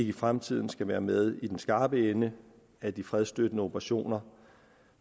i fremtiden skal være med i den skarpe ende af de fredsstøttende operationer